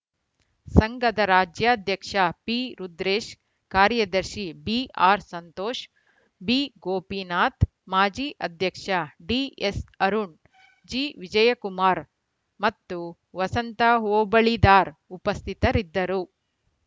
ಸಂಘದ ರಾಜ್ಯಾಧ್ಯಕ್ಷ ಪಿರುದ್ರೇಶ್‌ ಕಾರ್ಯದರ್ಶಿ ಬಿಆರ್‌ ಸಂತೋಷ್‌ ಬಿಗೋಪಿನಾಥ್‌ ಮಾಜಿ ಅಧ್ಯಕ್ಷ ಡಿಎಸ್‌ ಅರುಣ್‌ ಜಿವಿಜಯಕುಮಾರ್‌ ಮತ್ತು ವಸಂತ ಹೋಬಳಿದಾರ್‌ ಉಪಸ್ಥಿತರಿದ್ದರು